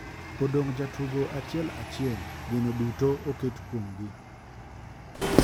Odong' ja tugo achiel achiel ,geno duto oket kuom gi.